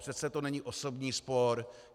Přece to není osobní spor.